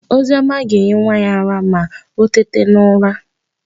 Oziọma ga-enye nwa ya ara ma o teta n'ụra.